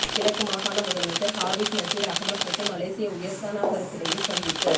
கிழக்கு மாகாண முதலமைச்சர் ஹாபிஸ் நசீர் அஹமட் மற்றும் மலேஷிய உயர்ஸ்தானிகருக்கிடையில் சந்திப்பு